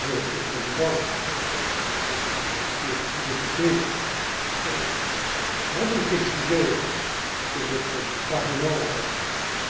Monsieur le Président, Mesdames et Messieurs les députés, avant d'évoquer le sujet que votre Parlement